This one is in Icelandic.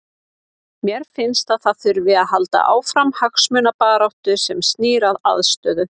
Mér finnst að það þurfi að halda áfram hagsmunabaráttu sem snýr að aðstöðu.